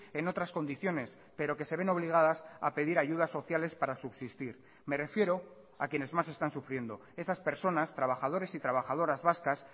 en otras condiciones pero que se ven obligadas a pedir ayudas sociales para subsistir me refiero a quienes más están sufriendo esas personas trabajadores y trabajadoras vascas